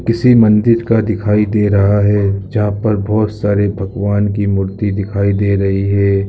किसी मंदिर का दिखाई दे रहा है जहां पर बहुत सारे भगवान की मूर्ति दिखाई दे रही है।